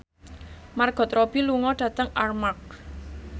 Margot Robbie lunga dhateng Armargh